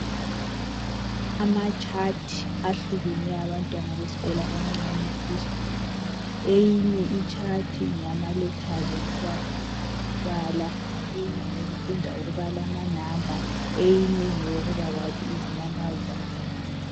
Amatshathi ahlukeneyo abantwana besikolo abancane epre-school. Eyinye itshathi ngeyama lethazi okubafundisa ukubala, eyinye ngeyokufunda ukubala amanamba eyinye ngeyokubakwazi izinyamazana.